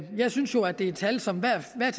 jeg synes jo at det er tal som